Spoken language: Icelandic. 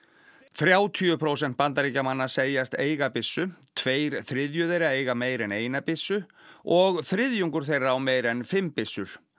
þrjátíu prósent Bandaríkjamanna segjast eiga byssu tveir þriðju þeirra eiga meira en eina byssu og þriðjungur þeirra á meira en fimm byssur